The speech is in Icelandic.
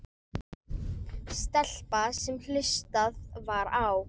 Stelpa sem hlustað var á.